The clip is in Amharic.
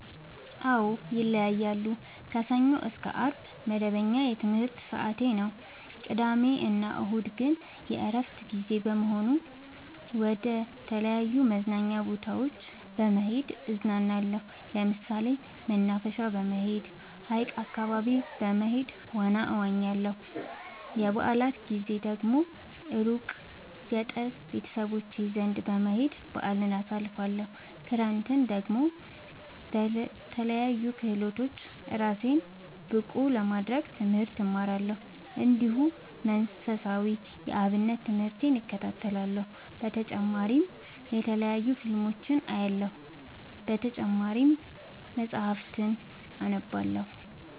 አዎ ይለያያለሉ። ከሰኞ እስከ አርብ መደበኛ የትምህርት ሰዓቴ ነው። ቅዳሜ እና እሁድ ግን የእረፍት ጊዜ በመሆኑ መደተለያዩ መዝናኛ ቦታዎች በመሄድ እዝናናለሁ። ለምሳሌ መናፈሻ በመሄድ። ሀይቅ አካባቢ በመሄድ ዋና እዋኛለሁ። የበአላት ጊዜ ደግሞ እሩቅ ገጠር ቤተሰቦቼ ዘንዳ በመሄድ በአልን አሳልፍለሁ። ክረምትን ደግሞ በለያዩ ክህሎቶች እራሴን ብቀሐ ለማድረግ ትምህርት እማራለሁ። እንዲሁ መንፈሳዊ የአብነት ትምህርቴን እከታተላለሁ። በተጨማሪ የተለያዩ ፊልሞችን አያለሁ። በተጨማሪም መፀሀፍትን አነባለሁ።